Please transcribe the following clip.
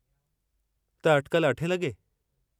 त अटिकल अठे लॻे?